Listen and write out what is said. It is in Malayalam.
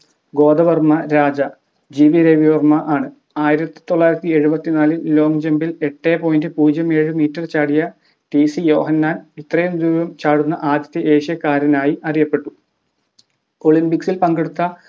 ഗോദവർമ്മ രാജ ജി വി രവിവർമ ആണ് ആയിരത്തിത്തൊള്ളായിരത്തി എഴുപത്തിനാലിൽ long jump ഇൽ എട്ട് point പുജിയം ഏഴ് metre ചാടിയ ടീസി യോഹന്നാൻ ഇത്രയും ദൂരം ചാടുന്ന ആദ്യത്തെ ഏഷ്യക്കാരനായി അറിയപെട്ടു olympics ഇൽ പങ്കെടുത്ത